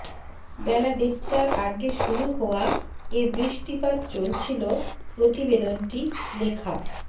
বেলা দেড়টার আগে শুরু হওয়া এ বৃষ্টিপাত চলছিল প্রতিবেদনটি লেখা